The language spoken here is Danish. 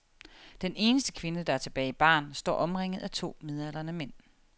Den eneste kvinde, der er tilbage i baren, står omringet af to midaldrende mænd.